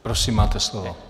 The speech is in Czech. Prosím, máte slovo.